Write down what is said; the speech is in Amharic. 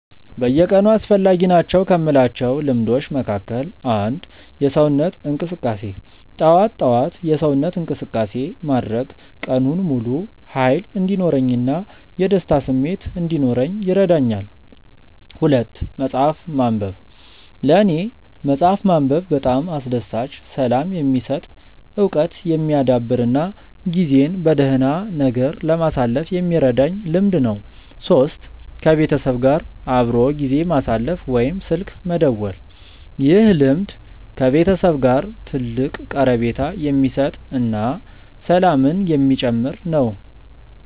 በየቀኑ አስፈላጊ ናቸው ከምላቸው ልምዶች መካከል፦ 1. የሰውነት እንቅስቃሴ፦ ጠዋት ጠዋት የሰውነት እንቅስቃሴ ማድረግ ቀኑን ሙሉ ሃይል እንዲኖረኝ እና የደስታ ስሜት እንዲኖረኝ ይረዳኛል። 2. መፅሐፍ ማንበብ፦ ለኔ መፅሐፍ ማንበብ በጣም አስደሳች፣ ሰላም የሚሰጥ፣ እውቀት የሚያዳብር እና ጊዜን በደህና ነገር ለማሳለፍ የሚረዳኝ ልምድ ነው። 3. ከቤተሰብ ጋር አብሮ ጊዜ ማሳለፍ ወይም ስልክ መደወል፦ ይህ ልምድ ከቤተሰብ ጋር ትልቅ ቀረቤታ የሚሰጥ እና ሰላምን የሚጨምር ነው